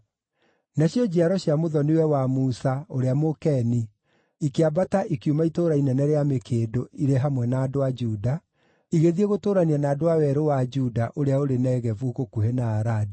Nacio njiaro cia mũthoni-we wa Musa, ũrĩa Mũkeni, ikĩambata ikiuma Itũũra Inene rĩa Mĩkĩndũ irĩ hamwe na andũ a Juda, igĩthiĩ gũtũũrania na andũ a werũ wa Juda ũrĩa ũrĩ Negevu gũkuhĩ na Aradi.